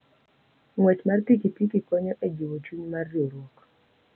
Ng'wech mar pikipiki konyo e jiwo chuny mar riwruok.